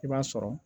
I b'a sɔrɔ